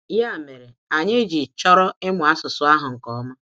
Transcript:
Ya mere, anyị ji chọrọ ịmụ asụsụ ahụ nke ọma.